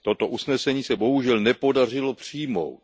Toto usnesení se bohužel nepodařilo přijmout.